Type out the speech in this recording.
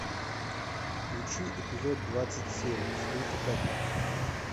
включи эпизод двадцать семь свинка пеппа